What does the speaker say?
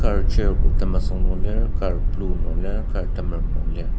kar chair bo temesüng nung lir kar blue nung lir kar temerem nung lir.